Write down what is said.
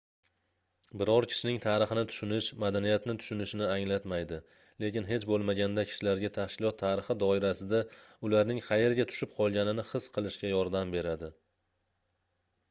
biror kishining tarixini tushunish madaniyatni tushunishni anglatmaydi lekin hech boʻlmaganda kishilarga tashkilot tarixi doirasida ularning qayerga tushib qolganini his qilishga yordam beradi